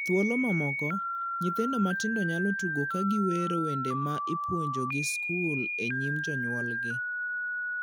Thuolo mamoko, nyithindo matindo nyalo tugo ka giwero wende ma ipuonjogi skul e nyim jonyuolgi.